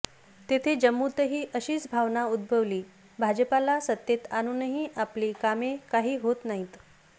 तेथे जम्मूतही अशीच भावना उद्भवली भाजपाला सत्तेत आणूनही आपली कामे काही होत नाहीत